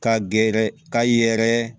Ka gɛrɛ ka ye yɛrɛ